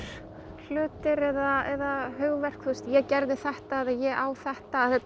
hlutir eða hugverk ég gerði þetta eða ég á þetta þetta